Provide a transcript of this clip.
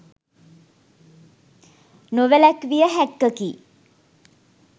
නොවැලැක්විය හැක්කකි